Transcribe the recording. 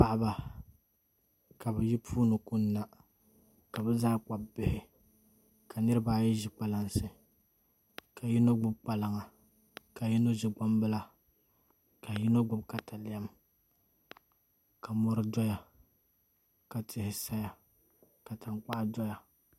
Paɣaba ka bi yi puuni kunna ka bi zaa gbubi Bihi ka niraba ayi ʒi kpalansi ka yino gbubi kpalaŋa ka yino ʒi gbambila ka yino gbubi katalɛm ka mori doya ka tihi saya ka tankpaɣu doya